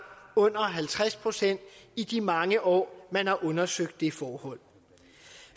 under halvtreds procent i de mange år man har undersøgt det forhold